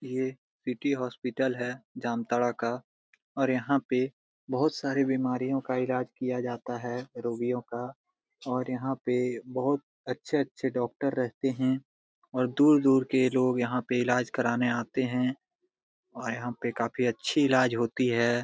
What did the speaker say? ये city hospital है जामताड़ा का और यहा पे बहुत सारी बीमारियों का इलाज किया जाता है रोगियों का और यहां पे बहुत अच्छे-अच्छे डॉक्टर रहते है और दूर-दूर के लोग यहां इलाज कराने आते है और यहां पे काफी अच्छी इलाज होती है।